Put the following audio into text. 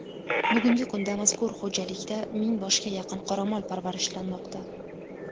Bugungi kunda mazkur xo‘jalikda ming boshga yaqin qoramol parvarishlanmoqda.